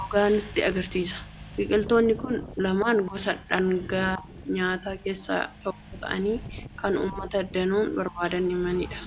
gogaa nutti argisiisa. Biqiltoonni kun lamaan gosa dhaangaa nyaataa keessaa tokko ta'anii kan uummata danuun barbaadamanidha.